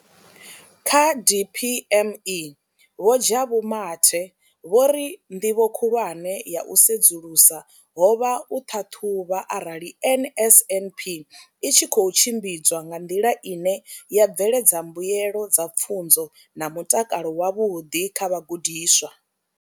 Kha DPME, Vho Jabu Mathe, vho ri ndivho khulwane ya u sedzulusa ho vha u ṱhaṱhuvha arali NSNP i tshi khou tshimbidzwa nga nḓila ine ya bveledza mbuelo dza pfunzo na mutakalo wavhuḓi kha vhagudiswa.